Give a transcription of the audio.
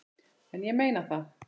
En ég meina það.